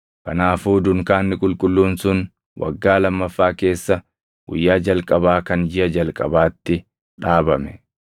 Kanaafuu dunkaanni qulqulluun sun waggaa lamaffaa keessa guyyaa jalqabaa kan jiʼa jalqabaatti dhaabame.